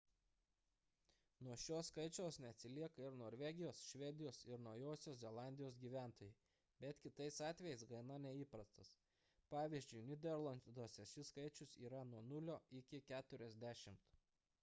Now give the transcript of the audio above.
nuo šio skaičiaus neatsilieka ir norvegijos švedijos ir naujosios zelandijos gyventojai bet kitais atvejais gana neįprastas pvz. nyderlanduose šis skaičius yra nuo 0 iki 40